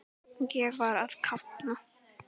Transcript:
Ég var að kafna.